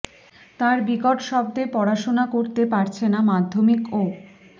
তার বিকট শব্দে পড়াশোনা করতে পারছে না মাধ্যমিক ও